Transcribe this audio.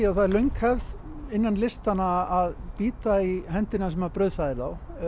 að það er löng hefð innan listanna að bíta í höndina sem brauðfæðir